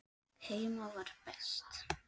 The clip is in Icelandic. Heima var best.